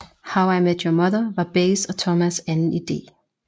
How I Met Your Mother var Bays og Thomas anden idé